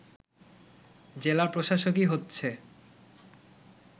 জেলা প্রশাসকই হচ্ছে